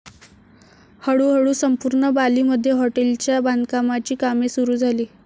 हळू हळू संपूर्ण बाली मध्ये हॉटेलच्या बांधकामाची कामे सुरु झाली.